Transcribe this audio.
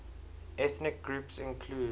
ethnic groups include